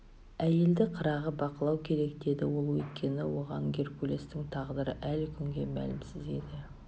әйелді қырағы бақылау керек деді ол өйткені оған геркулестің тағдыры әлі күнге мәлімсіз еді